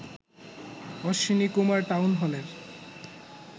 Ashwini Kumar town হলের